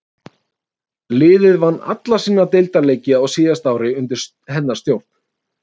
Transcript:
Liðið vann alla sína deildarleiki á síðasta ári undir hennar stjórn.